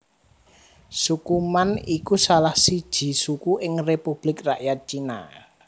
Suku Man iku salah siji suku ing Republik Rakyat Cina